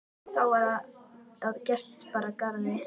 Þá var það að gest bar að garði.